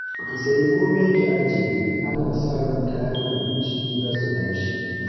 Ki sayi komai ki ajiye, ana sa ran kayan abinci za su tashi